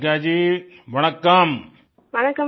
कनिग्गा जी वडक्कम वड़कम